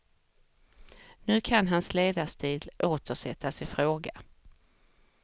Nu kan hans ledarstil åter sättas i fråga.